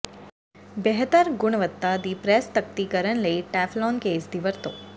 ਬਿਹਤਰ ਗੁਣਵੱਤਾ ਦੀ ਪ੍ਰੈੱਸ ਤਖਤੀ ਕਰਨ ਲਈ ਟੈਫਲੌਨ ਕੇਸ ਦੀ ਵਰਤੋ